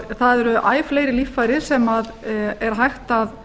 það eru æ fleiri líffæri sem er hægt að